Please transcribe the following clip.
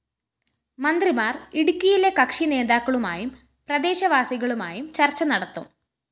മന്ത്രിമാര്‍ ഇടുക്കിയിലെ കക്ഷി നേതാക്കളുമായും പ്രദേശ വാസികളുമായും ചര്‍ച്ച നടത്തും